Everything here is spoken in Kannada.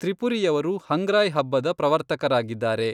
ತ್ರಿಪುರಿಯವರು ಹಂಗ್ರಾಯ್ ಹಬ್ಬದ ಪ್ರವರ್ತಕರಾಗಿದ್ದಾರೆ.